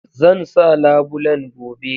Zan sa labulen gobe